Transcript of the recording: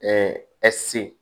se